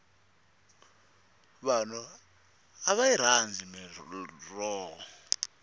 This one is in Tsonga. vanhu a va yi rhandzi mirhoho